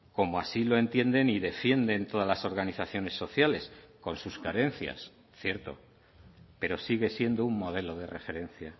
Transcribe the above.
como así lo entienden y defienden todas las organizaciones sociales con sus carencias cierto pero sigue siendo un modelo de referencia